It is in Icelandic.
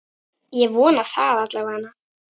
Ég vona það alla vega.